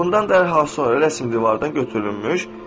Bundan dərhal sonra rəsm divardan götürülmüş.